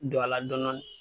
Don a la dɔɔnin dɔɔnin